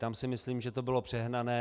Tam si myslím, že to bylo přehnané.